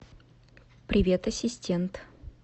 привет ассистент